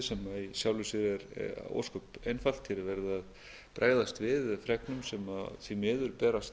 sem í sjálfu sér er ósköp einfalt hér er verið að bregðast við fregnum sem því miður berast